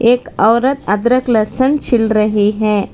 एक औरत अदरक लहसुन छिल रही है।